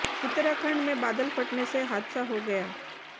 उत्तराखंड में बादल फटने से हादसा हो गया